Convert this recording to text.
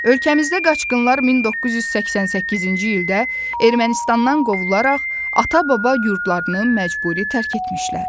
Ölkəmizdə qaçqınlar 1988-ci ildə Ermənistandan qovularaq ata-baba yurdlarını məcburi tərk etmişlər.